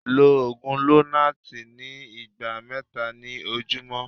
lọ ogun lonart ní igba mẹta ni ojumọ